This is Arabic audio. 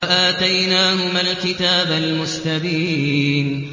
وَآتَيْنَاهُمَا الْكِتَابَ الْمُسْتَبِينَ